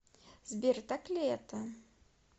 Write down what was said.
сбер так ли это